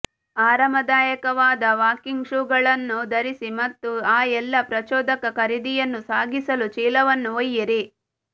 ಆರಾಮದಾಯಕವಾದ walking ಷೂಗಳನ್ನು ಧರಿಸಿ ಮತ್ತು ಆ ಎಲ್ಲಾ ಪ್ರಚೋದಕ ಖರೀದಿಯನ್ನು ಸಾಗಿಸಲು ಚೀಲವನ್ನು ಒಯ್ಯಿರಿ